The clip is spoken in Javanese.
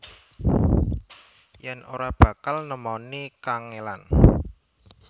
Yen ora bakal nemoni kangelan